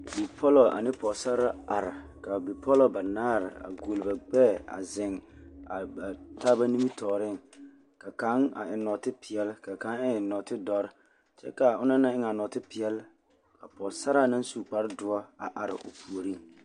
Bipɔlɔ ane pɔɔsare banaare la are ka a bipɔlɔ ɡuoli ba ɡbɛɛ a zeŋ ba taaba nimitɔɔreŋ ka kaŋ eŋ nɔɔtepeɛle ka kaŋ eŋ nɔɔtedɔre kyɛ ka a ona naŋ eŋe a nɔɔtepeɛle ka pɔɡesaraa na su kpardoɔ a are o puoriŋ.